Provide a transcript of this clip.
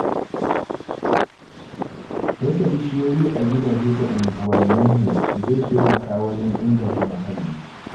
Dasa bishiyoyi a gidaje da unguwanninmu zai taimaka wajen inganta muhalli.